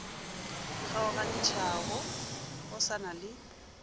kgaogantšhago go sa na le